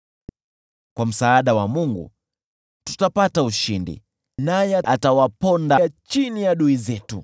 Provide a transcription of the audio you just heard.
Kwa msaada wa Mungu tutapata ushindi, naye atawaponda adui zetu.